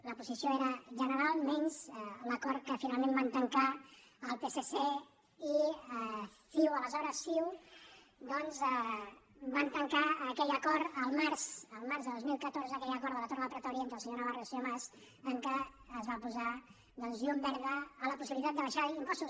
la posició era general menys l’acord que finalment van tancar el psc i ciu aleshores ciu el març de dos mil catorze aquell acord de la torre del pretori entre el senyor navarro i el senyor mas en què es va posar llum verda a la possibilitat d’abaixar impostos